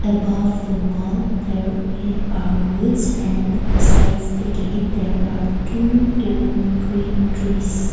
above the wall there ee ar woods and besides the gate there are two tall green trees.